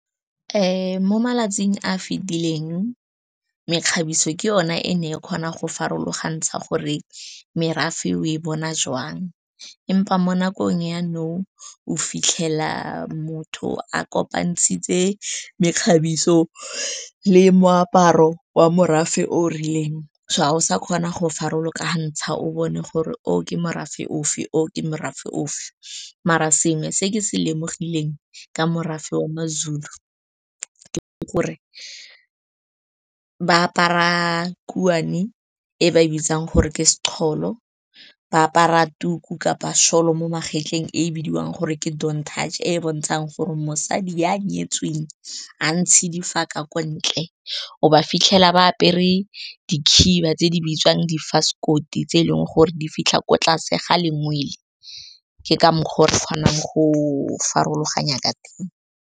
Ee mo malatsing a fitileng mekgabiso ke yone e ne e kgona go farologantsha gore merafe o e bona jwang empa mo nakong yanong o fitlhela motho a kopantshitse mekgabiso le moaparo wa morafe o rileng so ga o sa kgona go farologanya ha ntsha o bone gore o ke morafe ofe o ke morafe of maar a sengwe se ke se lemoga tlileng ka morafe o mazulu ke gore ba apara khutshane e ba e bitsang gore ke se toll o ba apara tuku kapa soil mo magetleng e bidiwang gore ke deon touch e e bontshang gore mosadi yo o nyetsweng ga ntshidi f jaaka ko ntle o ba fitlhela ba apere di khiba tse di bitswang di vice code e tse eleng gore di fitlha ko tlase ga lengwe pele ke ka mokgwa o re kgonang go farologanya ka teng ka.